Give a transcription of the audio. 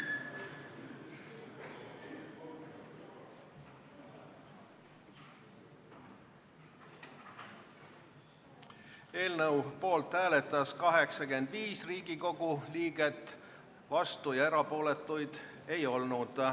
Hääletustulemused Eelnõu poolt hääletas 85 Riigikogu liiget, vastuolijaid ega erapooletuid ei olnud.